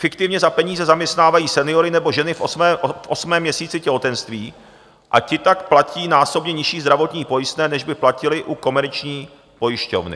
Fiktivně za peníze zaměstnávají seniory nebo ženy v osmém měsíci těhotenství a ti tak platí násobně nižší zdravotní pojistné, než by platili u komerční pojišťovny.